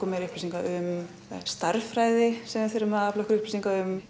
meiri upplýsinga um stærðfræði sem þarf að afla upplýsinga um